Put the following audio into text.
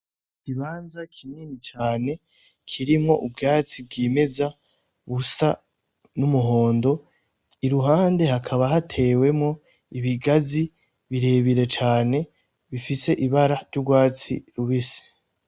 Ikibanza kinini cane, kirimwo ubwatsi bwimeza, busa n'umuhondo ,irihunde hakaba hatewemwo ibigazi birebire cane, bifise ibara ry'urwatsi rubisi.